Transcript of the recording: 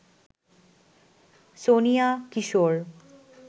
Sonia, Kishore